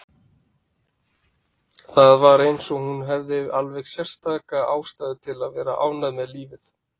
Það var eins og hún hefði alveg sérstaka ástæðu til að vera ánægð með lífið.